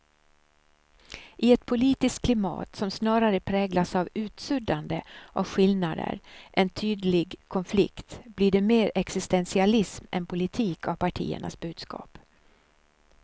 I ett politiskt klimat som snarare präglas av utsuddande av skillnader än tydlig konflikt blir det mer existentialism än politik av partiernas budskap.